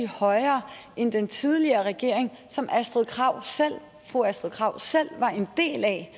højere end den tidligere regering som fru astrid krag selv var en del af